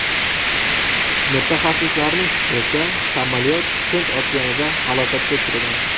Mutaxassislarning fikricha, samolyot Hind okeanida halokatga uchragan.